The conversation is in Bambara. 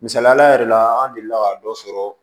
Misaliya yɛrɛ la an delila ka dɔ sɔrɔ